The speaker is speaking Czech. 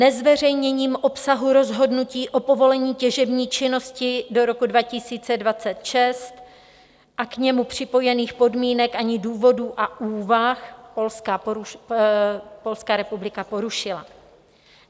Nezveřejněním obsahu rozhodnutí o povolení těžební činnosti do roku 2026 a k němu připojených podmínek ani důvodů a úvah - Polská republika porušila.